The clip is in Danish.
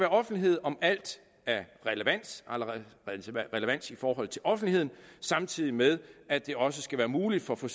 offentlighed om alt af relevans i forhold til offentligheden samtidig med at det også skal være muligt for for